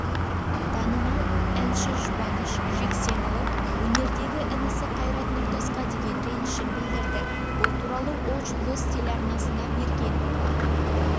танымал әншіжұбаныш жексенұлы өнердегі інісі қайрат нұртасқа деген ренішін білдірді бұл туралы ол жұлдыз телеарнасына берген